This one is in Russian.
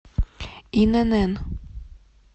инн